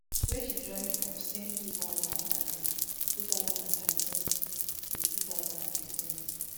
wey she join from same two thousand and thirteen same two thousand and thirteen to two thousand and fifteen